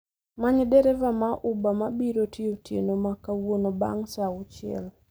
Many dereva ma uber mabiro tiyo otieno ma kawuono bang' saa auchiel